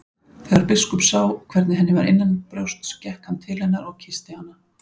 Þegar biskup sá hvernig henni var innanbrjósts gekk hann til hennar og kyssti hana.